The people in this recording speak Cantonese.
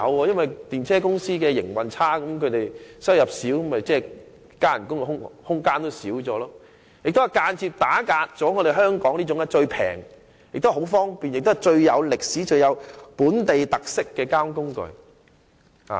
因為電車公司的營運狀況如有欠理想，收入不多，其員工的增薪空間也隨之收窄，而這也間接打壓了香港這種最廉宜、最方便、最有歷史、最具本地特色的交通工具。